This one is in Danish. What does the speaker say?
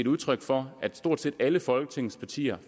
udtryk for at stort set alle folketingets partier